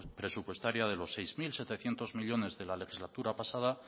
presupuestaria de los seis mil setecientos millónes de la legislatura pasada